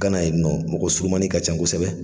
Kana yen nɔ, mɔgɔ surumani ka ca kosɛbɛ.